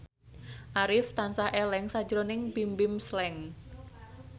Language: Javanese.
Arif tansah eling sakjroning Bimbim Slank